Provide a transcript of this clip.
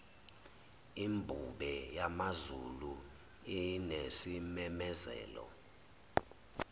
imbube yamazulu inesimemezelo